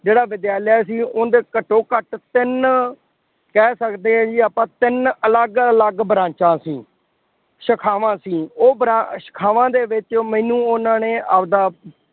ਜਿਹੜਾ ਵਿਦਿਆਲਿਆ ਸੀ ਉਹਦੇ ਘੱਟੋ ਘੱਟ ਤਿੰਨ ਕਹਿ ਸਕਦੇ ਹਾਂ ਜੀ ਆਪਾਂ ਤਿੰਨ ਅਲੱਗ ਅਲੱਗ ਬਰਾਚਾਂ ਸੀ। ਸ਼ੇਖਾਵਾਂ ਸੀ, ਉਹ ਭਰਾ ਸੇਖਾਵਾਂ ਦੇ ਵਿੱਚ ਮੈਨੂੰ ਉਹਨਾ ਨੇ ਆਪਦਾ